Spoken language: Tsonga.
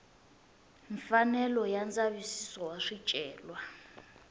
mfanelo ya ndzavisiso wa swicelwa